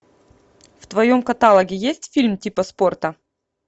в твоем каталоге есть фильм типа спорта